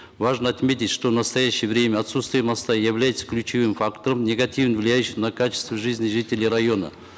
важно отметить что в настоящее время отсутствие моста является ключевым фактором негативно влияющим на качество жизни жителей района